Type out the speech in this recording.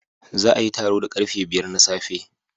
Za a yi taro da karfe biyar na safe